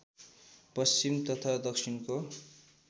पश्चिम तथा दक्षिणको